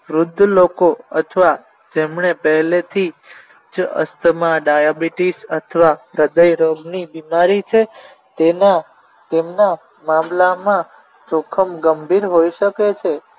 વૃધ્ધ લોકો અથવા જેમણે પહેલેથી જ અસ્થમા ડાયાબિટીસ અથવા હૃદય રોગની બીમારી છે તેના તેમના મામલામાં જોખમ ગંભીર હોઈ શકે છે